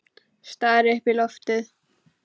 Stari upp í loftið.